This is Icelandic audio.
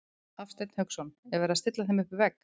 Hafsteinn Hauksson: Er verið að stilla þeim upp við vegg?